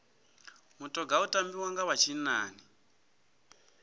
mutoga u tambiwa nga vha tshinnani